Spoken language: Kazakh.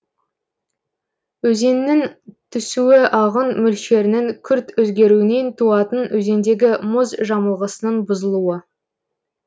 өзеннің түсуі ағын мөлшерінің күрт өзгеруінен туатын өзендегі мұз жамылғысының бұзылуы